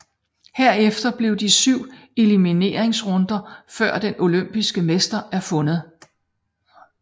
Herefter er der 7 elimineringsrunder før den olympiske mester er fundet